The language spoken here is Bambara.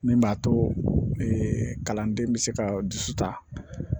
Min b'a to kalanden bɛ se ka dusu ta